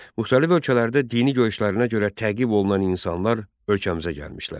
Müxtəlif ölkələrdə dini görüşlərinə görə təqib olunan insanlar ölkəmizə gəlmişlər.